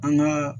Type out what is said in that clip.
An gaa